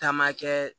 Taama kɛ